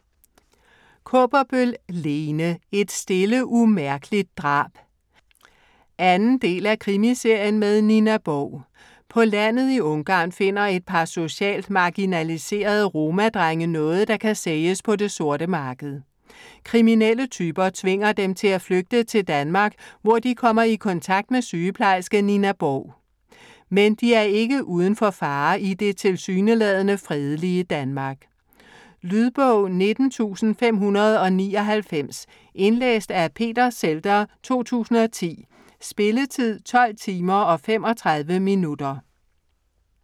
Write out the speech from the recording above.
Kaaberbøl, Lene: Et stille umærkeligt drab 2. del af Krimiserien med Nina Borg. På landet i Ungarn finder et par sociale marginaliserede romadrenge noget, der kan sælges på det sorte marked. Kriminelle typer tvinger dem til at flygte til Danmark, hvor de kommer i kontakt med sygeplejerske Nina Borg. Men de er ikke uden for fare i det tilsyneladende fredelige Danmark. Lydbog 19599 Indlæst af Peter Zhelder, 2010. Spilletid: 12 timer, 35 minutter.